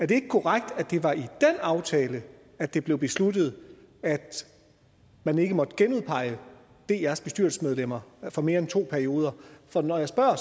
det ikke korrekt at det var i den aftale at det blev besluttet at man ikke måtte genudpege drs bestyrelsesmedlemmer for mere end to perioder når jeg spørger